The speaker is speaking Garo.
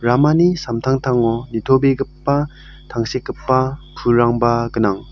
ramani samtangtango nitobegipa tangsekgipa pulrangba gnang.